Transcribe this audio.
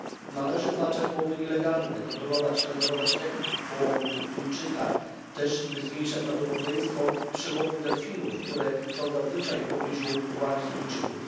Należy zwalczać połowy nielegalne, kontrolować i nadzorować techniki połowów tuńczyka, też zmniejszać prawdopodobieństwo przełowu delfinów, które są zazwyczaj w pobliżu ławic tuńczyków.